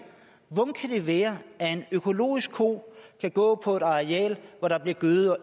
hvordan kan det være at en økologisk ko kan gå på et areal hvor der bliver gødet